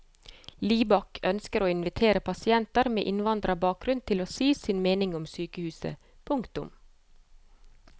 Libak ønsker å invitere pasienter med innvandrerbakgrunn til å si sin mening om sykehuset. punktum